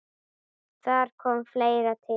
Þar komi fleira til.